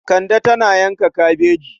Kande tana yanka kabejin.